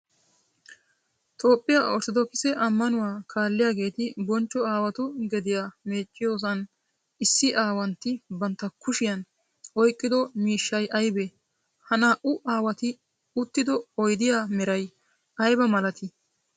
Toophphiyaa orttodookisse amanuwa kaalliyaagetti bonchcho aawatu gediya meecciyoosan issi aawantti bantta kushiyan oyqqiddo miishshay aybbe? Ha naa'u aawatti uttido oyddiya meray aybba malatti?